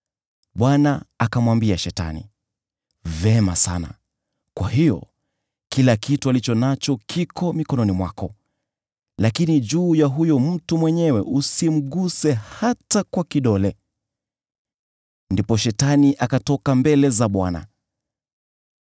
Bwana akamwambia Shetani, “Vema sana, kwa hiyo, kila kitu alicho nacho kiko mikononi mwako, lakini juu ya huyo mtu mwenyewe usimguse hata kwa kidole.” Ndipo Shetani akatoka mbele za Bwana .